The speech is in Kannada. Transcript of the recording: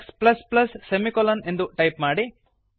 x ಸೆಮಿಕೊಲನ್ ಎಂದು ಟೈಪ್ ಮಾಡಿ